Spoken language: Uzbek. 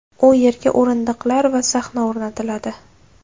U yerga o‘rindiqlar va sahna o‘rnatiladi.